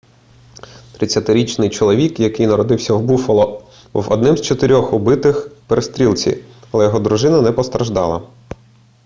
30-річний чоловік який народився в буффало був одним з чотирьох убитих в перестрілці але його дружина не постраждала